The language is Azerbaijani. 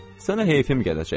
Sənə heyfim gələcək.